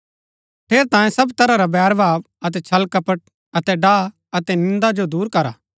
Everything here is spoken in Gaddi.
ठेरैतांये सब तरह रा बैरभाव अतै छल कपट अतै डाह अतै निन्दा जो दूर करा